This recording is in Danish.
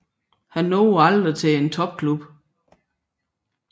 Han nåede aldrig til en topklub